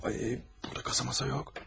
Burada kasa-masa yox.